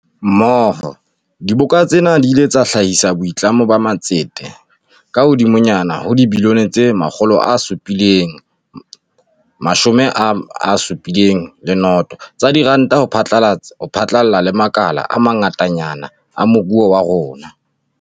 Mmoho, diboka tsena di ile tsa hlahisa boitlamo ba matsete a kahodimonyana ho dibilione tse 770 tsa diranta ho phatlalla le makala a ma ngatanyana a moruo wa rona.